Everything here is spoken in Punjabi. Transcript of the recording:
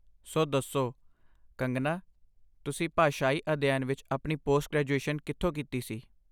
ਸੋ, ਦਸੋਂ, ਕੰਗਨਾ, ਤੁਸੀਂ ਭਾਸ਼ਾਈ ਅਧਿਐਨ ਵਿੱਚ ਆਪਣੀ ਪੋਸਟ ਗ੍ਰੈਜੂਏਸ਼ਨ ਕਿਥੋਂ ਕੀਤੀ ਸੀ ?